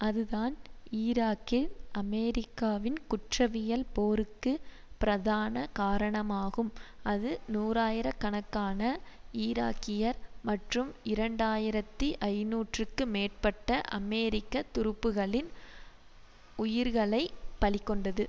அதுதான் ஈராக்கில் அமெரிக்காவின் குற்றவியல் போருக்கு பிரதான காரணமாகும் அது நூறாயிர கணக்கான ஈராக்கியர் மற்றும் இரண்டாயிரத்தி ஐநூறுக்கு மேற்பட்ட அமெரிக்க துருப்புக்களின் உயிர்களை பலி கொண்டது